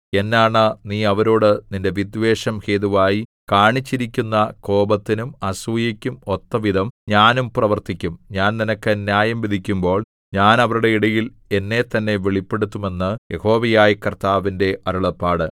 എന്നാണ നീ അവരോടു നിന്റെ വിദ്വേഷം ഹേതുവായി കാണിച്ചിരിക്കുന്ന കോപത്തിനും അസൂയയ്ക്കും ഒത്തവിധം ഞാനും പ്രവർത്തിക്കും ഞാൻ നിനക്ക് ന്യായം വിധിക്കുമ്പോൾ ഞാൻ അവരുടെ ഇടയിൽ എന്നെത്തന്നെ വെളിപ്പെടുത്തും എന്ന് യഹോവയായ കർത്താവിന്റെ അരുളപ്പാട്